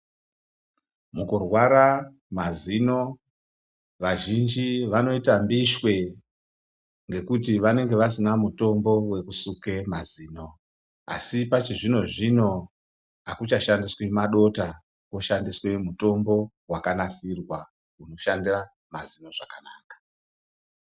Mukurwara mazino vazhinji vanoita mbishwe ngekuti vanenge vasina mutombo wekusake mazino. Asi pachipachizvino zvino akuchashandiswi madota kwoshandiswa mutombo wakanasirwa unoshanda mazino zvakanaka.